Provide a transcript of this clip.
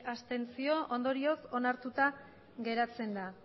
abstentzioak hogeita bi ondorioz onartuta geratzen da